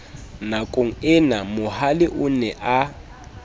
nakongena mohale o ne a